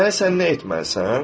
Deməli sən nə etməlisən?